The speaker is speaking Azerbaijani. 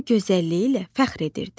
O gözəlliyi ilə fəxr edirdi.